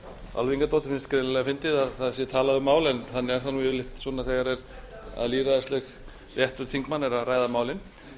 álfheiði ingadóttur finnst greinilega fyndið að það sé talað um mál en þannig er það yfirleitt svona þegar lýðræðislegur réttur þingmanna er að ræða málin